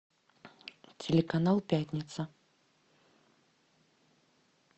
телеканал пятница